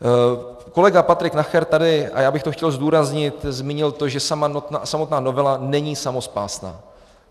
Kolega Patrik Nacher tady, a já bych to chtěl zdůraznit, zmínil to, že samotná novela není samospásná.